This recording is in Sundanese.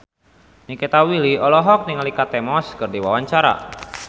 Nikita Willy olohok ningali Kate Moss keur diwawancara